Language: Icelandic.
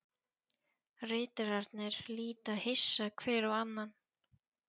Ritararnir líta hissa hver á annan.